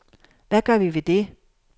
Hvad gør vi ved det?